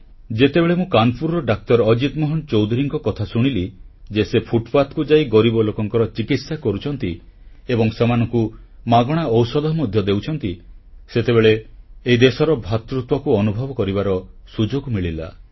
ଯେତେବେଳେ ମୁଁ କାନପୁରର ଡାକ୍ତର ଅଜିତ ମୋହନ ଚୌଧୁରୀଙ୍କ କଥା ଶୁଣିଲି ଯେ ସେ ଫୁଟପାଥକୁ ଯାଇ ଗରିବ ଲୋକଙ୍କ ଚିକିତ୍ସା କରୁଛନ୍ତି ଏବଂ ସେମାନଙ୍କୁ ମାଗଣା ଔଷଧ ମଧ୍ୟ ଦେଉଛନ୍ତି ସେତେବେଳେ ଏହି ଦେଶର ଭ୍ରାତୃତ୍ୱଭାବକୁ ଅନୁଭବ କରିବାର ସୁଯୋଗ ମିଳିଲା